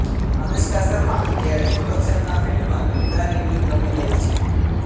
અનુષ્કા શર્મા અત્યારે પ્રોડક્શનના ફીલ્ડમાં દમદાર ઇનિંગ રમી રહી છે